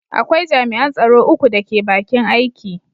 Akwai jami’an tsaro uku da ke bakin aiki.